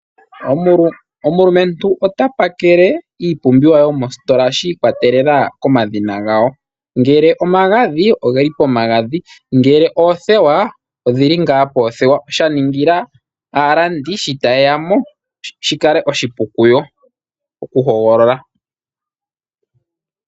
Omulumentu ota pakele iipumbiwa yomositola shikwatelela komadhina gawo ngele omagadhi ogeli pomagadhi ngele oothewa odhili poothewa shaningila aalandi shi tayeya mo shikale oshipu kuyo okuhogolola.